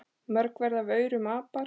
Mörg verða af aurum apar.